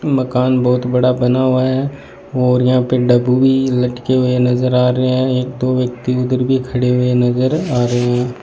मकान बहुत बड़ा बना हुआ है और यहां पे भी लटके हुए नजर आ रहे हैं एक दो व्यक्ति उधर भी खड़े हुए नजर आ रहे हैं।